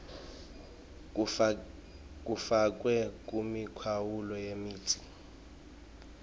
kufakwe kumikhawulo yemitsi